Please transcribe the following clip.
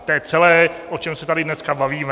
To je celé, o čem se tady dneska bavíme.